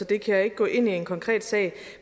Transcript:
kan ikke gå ind i en konkret sag